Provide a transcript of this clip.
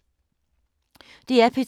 DR P2